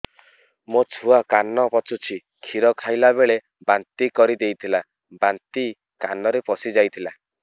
ମୋ ଛୁଆ କାନ ପଚୁଛି କ୍ଷୀର ଖାଇଲାବେଳେ ବାନ୍ତି କରି ଦେଇଥିଲା ବାନ୍ତି କାନରେ ପଶିଯାଇ ଥିଲା